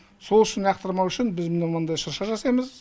сол үшін лақтырмау үшін біз міне мындай шырша жасаймыз